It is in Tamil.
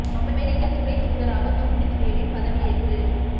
அமெரிக்க துணைத் தூதராக ஜூடித் ரேவின் பதவியேற்பு